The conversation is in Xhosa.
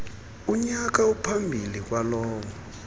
kunyaka ophambi kwalowo